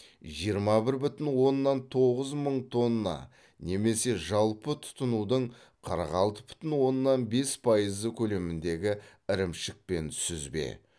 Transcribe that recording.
жиырма бір бүтін оннан тоғыз мың тонна немесе жалпы тұтынудың қырық алты бүтін оннан бес пайызы көлеміндегі ірімшік пен сүзбе